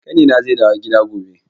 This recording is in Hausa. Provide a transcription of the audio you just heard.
Ƙanina zai dawo gida gobe.